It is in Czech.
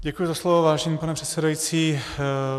Děkuji za slovo, vážený pane předsedající.